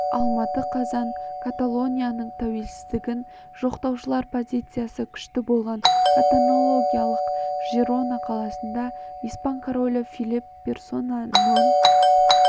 алматы қазан каталонияның тәуелсіздігін жақтаушылар позициясы күшті болған каталониялық жирона қаласында испан королі филипп персона нон